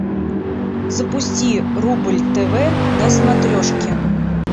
запусти рубль тв на смотрешке